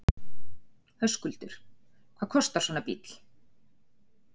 Höskuldur: Hvað kostar svona bíll?